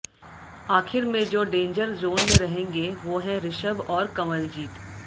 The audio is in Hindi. आखिर में जो डेंजर जोन में रहेंगे वो हैं ऋषभ और कंवलजीत